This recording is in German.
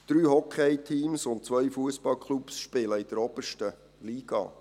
Drei Hockeyteams und zwei Fussballclubs spielen in der obersten Liga.